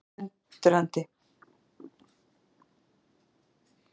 Lalli varð alveg undrandi.